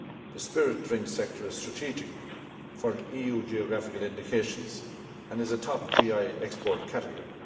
The spirit drinks sector is strategic for EU geographical indications and is a top GI export category.